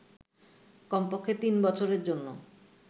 কমপক্ষে তিন বছরের জন্য